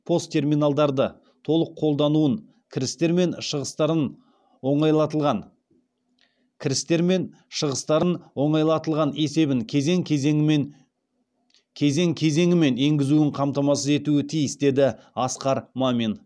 пост терминалдарды толық қолдануын кірістер мен шығыстарын оңайлатылған кірістер мен шығыстарын оңайлатылған есебін кезең кезеңімен енгізуін қамтамасыз етуі тиіс деді асқар мамин